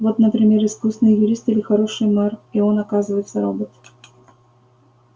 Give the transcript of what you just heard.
вот например искусный юрист или хороший мэр и он оказывается робот